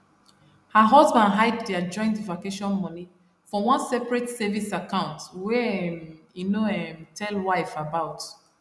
her husband hide their joint vacation money for one separate savings account wey um he no um tell wife about